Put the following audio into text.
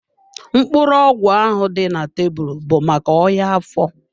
Mkpụrụ ọgwụ ahụ dị na tebụl bụ maka ọya afọ.